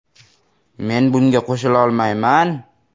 Men bunga qo‘shilolmayman.